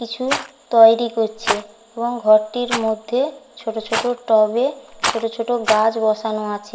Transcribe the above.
কিছু-উ তয়েরি করছে এবং ঘরটির মধ্যে ছোট ছোট টবে ছোট ছোট গাছ বসানো আছে।